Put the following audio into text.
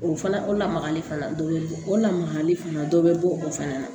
O fana o lamagali fana dɔ be bɔ o la makali fana dɔ be bɔ o fɛnɛ na